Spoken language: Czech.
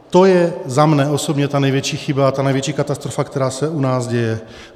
To je za mě osobně ta největší chyba a největší katastrofa, která se u nás děje.